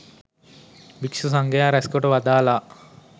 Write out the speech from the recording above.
භික්ෂු සංඝයා රැස්කොට වදාළා.